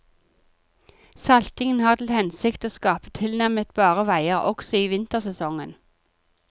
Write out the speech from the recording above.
Saltingen har til hensikt å skape tilnærmet bare veier også i vintersesongen.